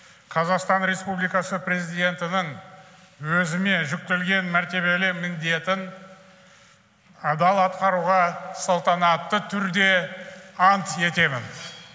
қазақстан республикасы президентінің өзіме жүктелген мәртебелі міндетін адал атқаруға салтанатты түрде ант етемін